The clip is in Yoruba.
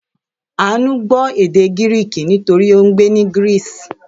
Àánú gbọ́ èdè Gíríìkì nítorí ó ń gbé ní Greece.